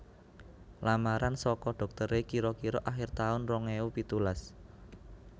Lamaran soko doktere kiro kiro akhir taun rong ewu pitulas